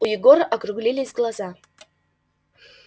у егора округлились глаза